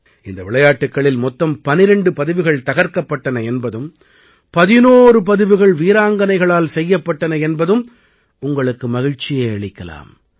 இந்த விளையாட்டுக்களில் மொத்தம் 12 பதிவுகள் தகர்க்கப்பட்டன என்பதும் 11 பதிவுகள் வீராங்கனைகளால் செய்யப்பட்டன என்பதும் உங்களுக்கு மகிழ்ச்சியை அளிக்கலாம்